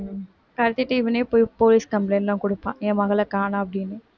கடத்திட்டு இவனே போய் police complaint லாம் கொடுப்பான் என் மகளக் காணோம் அப்படின்னு